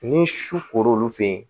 Ni su koron' fen ye